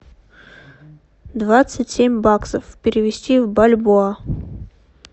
двадцать семь баксов перевести в бальбоа